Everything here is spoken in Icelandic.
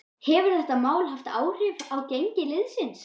Hefur þetta mál haft áhrif á gengi liðsins?